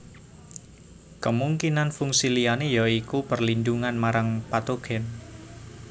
Kemungkinan fungsi liyane ya iku perlindungan marang patogen